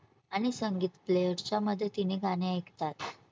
आणि संगीत player च्या मध्ये तिने गाणे ऐकतात